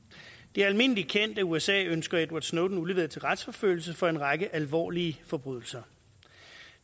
det er almindelig kendt at usa ønsker edward snowden udleveret til retsforfølgelse for en række alvorlige forbrydelser